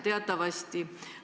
Teatavasti ...